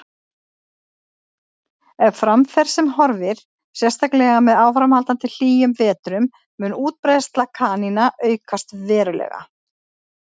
Ef fram fer sem horfir, sérstaklega með áframhaldandi hlýjum vetrum, mun útbreiðsla kanína aukast verulega.